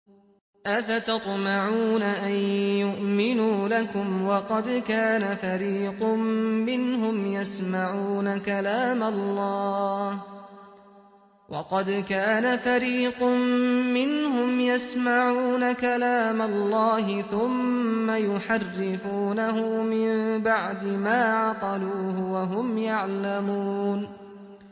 ۞ أَفَتَطْمَعُونَ أَن يُؤْمِنُوا لَكُمْ وَقَدْ كَانَ فَرِيقٌ مِّنْهُمْ يَسْمَعُونَ كَلَامَ اللَّهِ ثُمَّ يُحَرِّفُونَهُ مِن بَعْدِ مَا عَقَلُوهُ وَهُمْ يَعْلَمُونَ